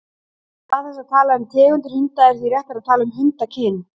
Í stað þess að tala um tegundir hunda er því réttara að tala um hundakyn.